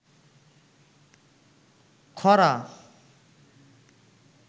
খরা